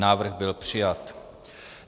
Návrh byl přijat.